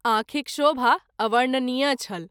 आँखिक शोभा अवर्णनीय छल।